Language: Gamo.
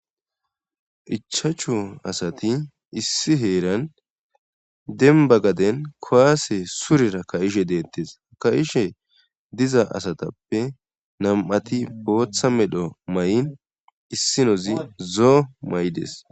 Ichachu asati issi heeran denba gaden kowaase surera ka'ishe deettes ka'ishe diza asatappe nam'ati booththa medho may'in issinozi zoo may'des.